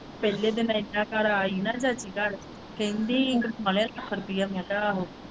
ਪਹਿਲੇ ਦਿਨ ਅਸੀਂ ਉਹਨਾਂ ਘਰ ਆਏ ਹੀ ਨਾ ਚਾਚੀ ਘਰ ਕਹਿੰਦੀ ਖਾ ਲਿਆ ਰੁਪਇਆ ਮੈਂ ਕਿਹਾ ਆਹੋ।